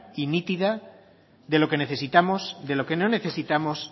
y nítida de lo que necesitamos de lo que no necesitamos